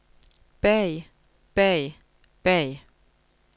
bag bag bag